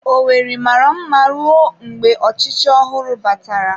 Owerri mara mma ruo mgbe ọchịchị ọhụrụ batara.